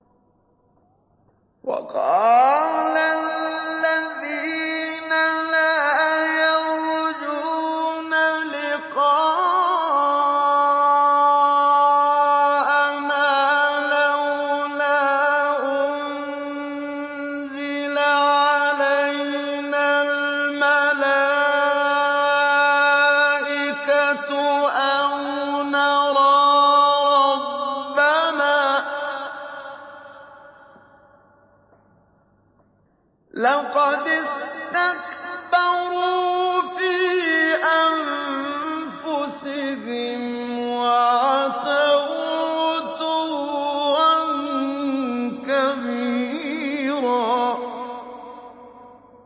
۞ وَقَالَ الَّذِينَ لَا يَرْجُونَ لِقَاءَنَا لَوْلَا أُنزِلَ عَلَيْنَا الْمَلَائِكَةُ أَوْ نَرَىٰ رَبَّنَا ۗ لَقَدِ اسْتَكْبَرُوا فِي أَنفُسِهِمْ وَعَتَوْا عُتُوًّا كَبِيرًا